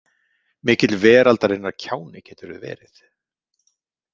Mikill veraldarinnar kjáni geturðu verið.